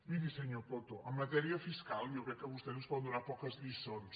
miri senyor coto en matèria fiscal jo crec que vostès ens poden donar poques lliçons